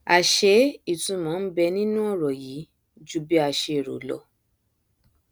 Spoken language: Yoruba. àṣé ìtunmọ nbẹ nínú ọrọ yìí ju bí a ṣe rò lọ